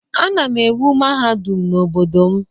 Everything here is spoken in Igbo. Ana m ewu mahadum n'obodo m